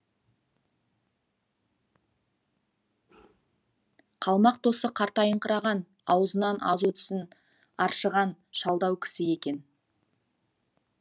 қалмақ досы қартайыңқыраған аузынан азу тісін аршыған шалдау кісі екен